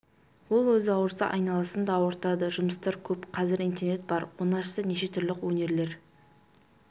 ол өзі ауырса айналасын да ауыртады жұмыстар көп қазір интернет бар оны ашса неше түрлі өнерлер